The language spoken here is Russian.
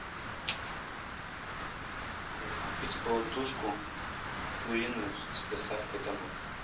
купить полутушку куриную с доставкой домой